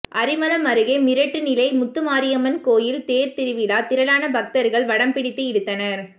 அரிமளம் அருகே மிரட்டு நிலை முத்துமாரியம்மன் கோயில் தேர்திருவிழா திரளான பக்தர்கள் வடம் பிடித்து இழுத்தனர்